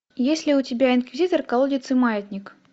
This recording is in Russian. есть ли у тебя инквизитор колодец и маятник